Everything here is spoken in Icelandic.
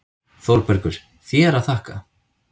ÞÓRBERGUR: Þér að þakka!